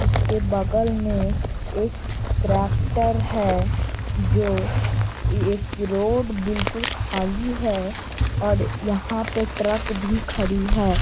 उसके बगल में एक ट्रेक्टर है जो एक रोड बिलकुल खाली है और यहाँ पे ट्रक भी खड़ी है |